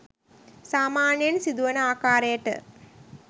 සාමාන්‍යයෙන් සිදුවන ආකාරයට